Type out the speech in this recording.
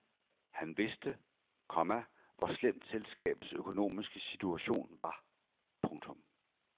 Han vidste, komma hvor slemt selskabets økonomiske situation var. punktum